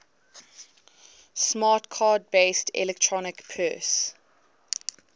smart card based electronic purse